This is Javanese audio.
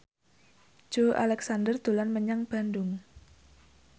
Joey Alexander dolan menyang Bandung